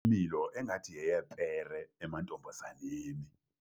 imilo engathi yeyepere emantombazaneni.